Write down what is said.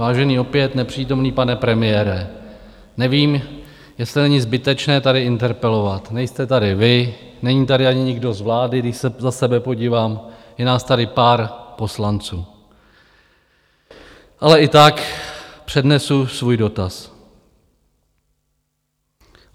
Vážený, opět nepřítomný pane premiére, nevím, jestli není zbytečné tady interpelovat, nejste tady vy, není tady ani nikdo z vlády, když se za sebe podívám, je nás tady pár poslanců, ale i tak přednesu svůj dotaz.